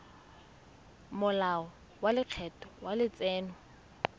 molao wa lekgetho wa letseno